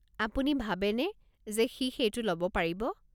আপুনি ভাবেনে যে সি সেইটো ল'ব পাৰিব?